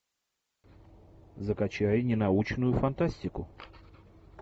закачай ненаучную фантастику